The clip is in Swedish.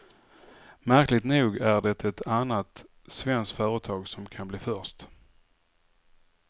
Märkligt nog är det ett annat svenskt företag som kan bli först.